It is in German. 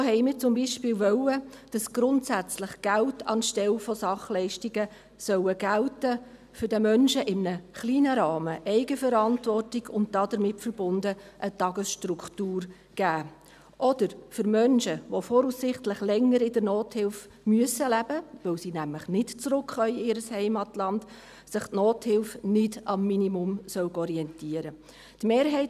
So wollten wir zum Beispiel, dass grundsätzlich Geld anstelle von Sachleistungen abgegeben wird, um den Menschen in einem kleinen Rahmen Eigenverantwortung und, damit verbunden, eine Tagesstruktur zu geben, oder dass sich für Menschen, die voraussichtlich länger in der Nothilfe leben müssen, weil sie nämlich nicht zurück in ihr Heimatland gehen können, die Nothilfe nicht am Minimum orientieren solle.